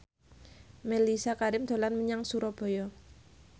Mellisa Karim dolan menyang Surabaya